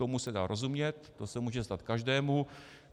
Tomu se dá rozumět, to se může stát každému.